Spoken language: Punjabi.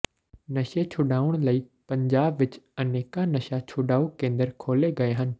ਨਸ਼ੇ ਛੁਡਾਉਣ ਲਈ ਪੰਜਾਬ ਵਿਚ ਅਨੇਕਾਂ ਨਸ਼ਾ ਛੁਡਾਊ ਕੇਂਦਰ ਖੋਲ੍ਹੇ ਗਏ ਹਨ